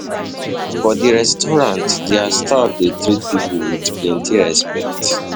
um For di restaurant their staff dey treat pipo with plenty respect